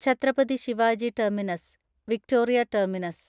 Chhatrapati Shivaji terminus (Victoria terminus)